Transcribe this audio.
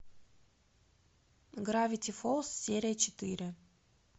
гравити фолз серия четыре